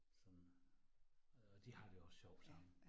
Sådan og de har det også sjovt sammen